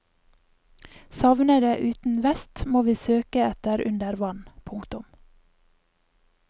Savnede uten vest må vi søke etter under vann. punktum